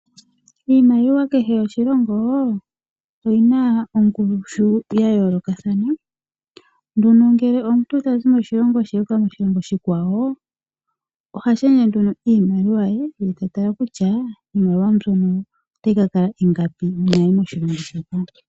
Iimaliwa ya kehe oshilongo oyina ongushu ya yoolokathana nduno ngele omuntu tazi moshilongo athinda moshikwawo oha shendje ihe iimaliwa ye ye tala kutya iimaliwa mbyono otayi kakala ingapi uuna yayi moshilongo moka.